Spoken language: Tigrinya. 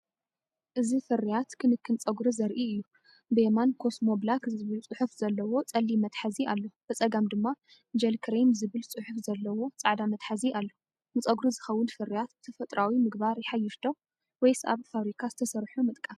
እዚ ፍርያት ክንክን ጸጉሪ ዘርኢ እዩ። ብየማን “ኮስሞ ብላክ"ዝብል ጽሑፍ ዘለዎ ጸሊም መትሓዚ ኣሎ። ብጸጋም ድማ “ጀል ክሬም” ዝብል ጽሑፍ ዘለዎ ጻዕዳ መትሓዚ ኣሎ። ንጸጉሪ ዝኸውን ፍርያት ብተፈጥሮኣዊ ምግባር ይሓይሽ ዶ ወይስ ኣብ ፋብሪካ ዝተሰርሑ ምጥቃም?